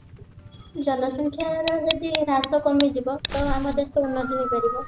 ଜନସଂଖ୍ୟା ର ଯଦି ହ୍ରାସ କମିଯିବ ତ ଆମ ଦେଶ ଉର୍ନତି ହେଇପାରିବ